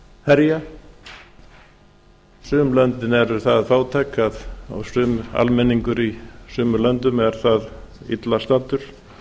herja sum löndin eru það fátæk og almenningur í sumum löndum er það illa staddur